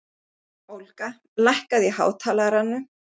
Olga, lækkaðu í hátalaranum.